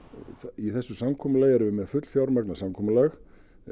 í þessu samkomulagi erum við með fullfjármagnað samkomulag